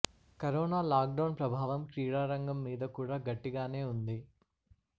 corona lockdown ప్రభావం క్రీడా రంగం మీద కూడా గట్టిగానే ఉంది